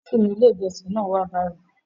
Títì ni ilé ìjọsìn náà wà báyìí.